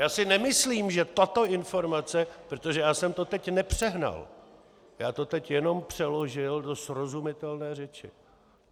Já si nemyslím, že tato informace, protože já jsem to teď nepřehnal, já to teď jenom přeložil do srozumitelné řeči.